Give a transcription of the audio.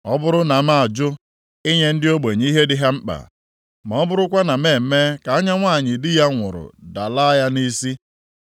“Ọ bụrụ na m ajụ inye ndị ogbenye ihe dị ha mkpa, ma ọ bụrụkwa na m eme ka anya nwanyị di ya nwụrụ dalaa ya nʼisi,